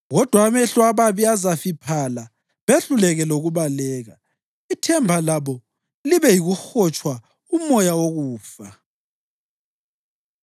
Kodwa amehlo ababi azafiphala, behluleke lokubaleka; ithemba labo libe yikuhotsha umoya wokufa.”